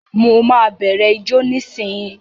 Mo ma bẹrẹ ijó nisinyi.